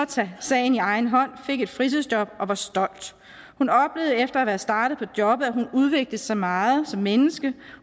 tage sagen i egen hånd fik et fritidsjob og var stolt hun oplevede efter at være startet på jobbet at hun udviklede sig meget som menneske